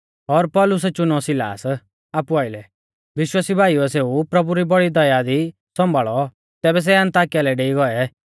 और पौलुसै चुनौ सिलास आपु आइलै विश्वासी भाईउऐ सेऊ प्रभु री बौड़ी दया दी सौंभाल़ौ तैबै सै अन्ताकिया लै डेई गौऐ